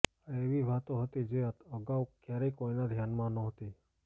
આ એવી વાતો હતી જે અગાઉ ક્યારેય કોઈના ધ્યાનમાં નહોતી